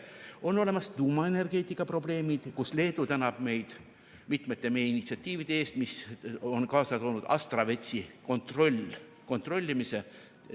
On olemas tuumaenergeetika probleemid, kus Leedu tänab meid mitmete meie initsiatiivide eest, mis on kaasa toonud Astravetsi kontrollimise.